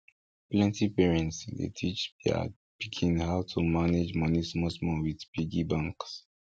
plenty parents dey start teach their pikin how to manage money small small with piggy banks